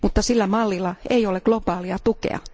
Mutta sillä mallilla ei ole globaalia tukea.